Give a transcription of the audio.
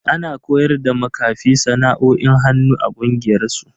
Ana koyar da makafin sana'o'in hannu a kungiyar su.